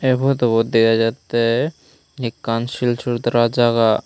ey potubot dega jatte ekkan silsultra jaga.